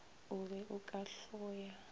o be o ka hloya